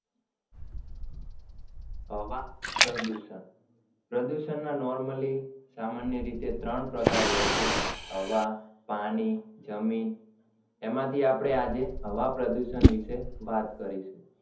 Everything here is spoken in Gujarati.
હવા પ્રદુષણ પ્રદુષણના normally સામાન્ય રીતે ત્રણ પ્રકાર હોય છે હવા પાણી જમીન એમાંથી આપડે આજે હવા પ્રદુષણ વીશે વાત કરીશું